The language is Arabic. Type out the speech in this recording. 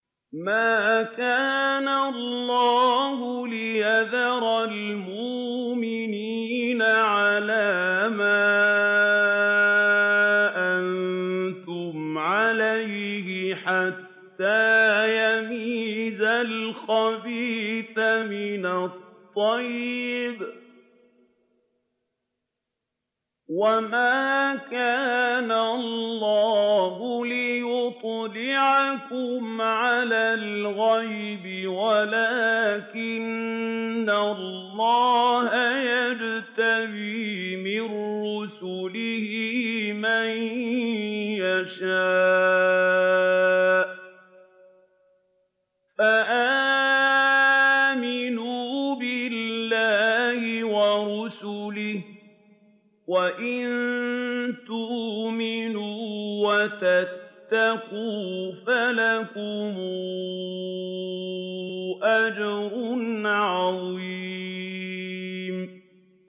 مَّا كَانَ اللَّهُ لِيَذَرَ الْمُؤْمِنِينَ عَلَىٰ مَا أَنتُمْ عَلَيْهِ حَتَّىٰ يَمِيزَ الْخَبِيثَ مِنَ الطَّيِّبِ ۗ وَمَا كَانَ اللَّهُ لِيُطْلِعَكُمْ عَلَى الْغَيْبِ وَلَٰكِنَّ اللَّهَ يَجْتَبِي مِن رُّسُلِهِ مَن يَشَاءُ ۖ فَآمِنُوا بِاللَّهِ وَرُسُلِهِ ۚ وَإِن تُؤْمِنُوا وَتَتَّقُوا فَلَكُمْ أَجْرٌ عَظِيمٌ